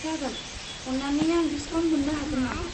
जागोन, अन्नानै आं डिसकाउन्ट मोन्नो हागोन नामा?